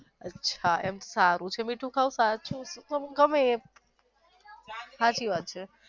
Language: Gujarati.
અચ્છા એમ સારું મીઠું ખાવું સાચું મને ગમે સાચી વાત છે